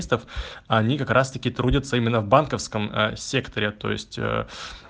они как раз таки трудятся именно в банковском секторе то есть